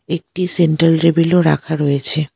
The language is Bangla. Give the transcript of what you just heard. একটি সেন্ট্রাল টেবিলও রাখা রয়েছে।